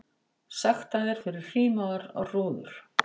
Sektaðir fyrir hrímaðar rúður